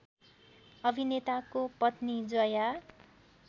अभिनेताको पत्नी जया